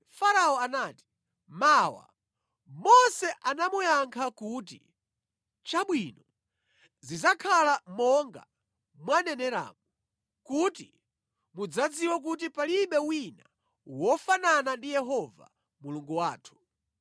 Farao anati, “Mawa.” Mose anamuyankha kuti, “Chabwino zidzakhala monga mwaneneramu, kuti mudzadziwe kuti palibe wina wofanana ndi Yehova Mulungu wathu.